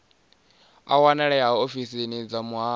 a wanalea ofisini dza muhasho